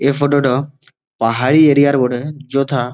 এই ফটো -টা পাহাড়ি এরিয়া -র বটে যথা।